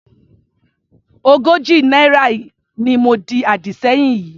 Ogójì náírà ni mo di àdì sẹ́yìn yìí.